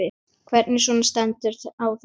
Hvernig svona stendur á þessu?